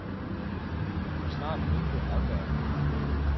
Han må snart vinke afværgende.